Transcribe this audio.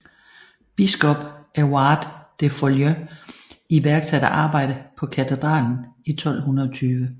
Biskop Evrard de Fouilly iværksatte arbejde på katedralen i 1220